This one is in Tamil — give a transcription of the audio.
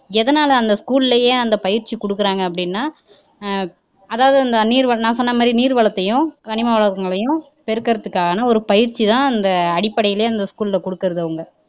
எதுனால school லயே அந்த பயிற்சி குடுக்குறாங்க அப்படின்னா அஹ் அதாவது அந்த நீர் வளம் நான் சொன்ன மாதிரி நீர் வளத்தையும் கனிம வளங்களையும் பெருக்குறதுக்கான ஒரு பயிற்ச்சிதான் அந்த அடிப்படைலையே school ல குடுக்குறது அவங்க